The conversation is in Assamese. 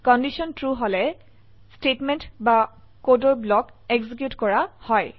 কন্ডিশন ট্ৰু হলে স্টেটমেন্ট বা কোডৰ ব্লক এক্সিকিউট কৰা হয়